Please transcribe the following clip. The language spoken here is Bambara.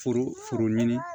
Foro foro ɲini